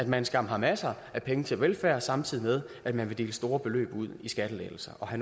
man skam har masser af penge til velfærd samtidig med at man vil dele store beløb ud i skattelettelser og